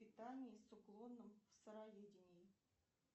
питание с уклоном сыроедение